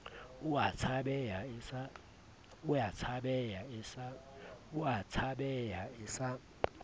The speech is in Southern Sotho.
o a tshabeha e sa